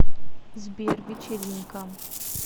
сбер вечеринка